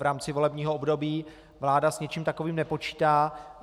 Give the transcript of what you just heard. V rámci volebního období vláda s něčím takovým nepočítá.